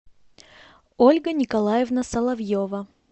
ольга николаевна соловьева